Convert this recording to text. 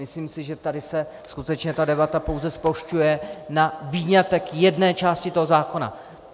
Myslím si, že tady se skutečně ta debata pouze zplošťuje na výňatek jedné části toho zákona.